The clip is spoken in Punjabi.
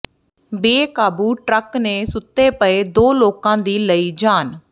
ਬੇਕਾਬੂ ਟਰੱਕ ਨੇ ਸੁੱਤੇ ਪਏ ਦੋ ਲੋਕਾਂ ਦੀ ਲਈ ਜਾਨ